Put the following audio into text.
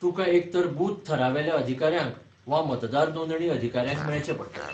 तुकां एकतर बूथ थरावेल्या अधिकाऱ्यांक वा मतदार नोंदणी अधिकाऱ्यांक मेळचें पडटलें.